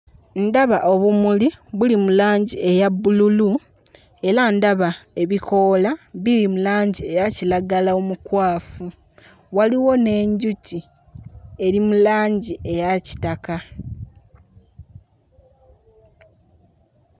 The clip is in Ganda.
Ndaba obumuli buli mu langi eya bbululu era ndaba ebikoola biri mu langi eya kiragala omukwafu, waliwo n'enjuki eri mu langi eya kitaka.